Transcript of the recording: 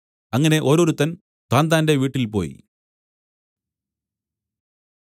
അങ്ങനെ ഓരോരുത്തൻ താന്താന്റെ വീട്ടിൽപോയി